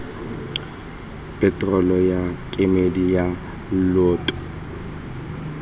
peterolo ya kemedi ya lloto